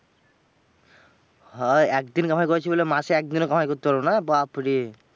হ্যাঁ একদিন কামাই করেছি বলে মাসে একদিনও কামাই করতে পারবো না? বাপ্ রে।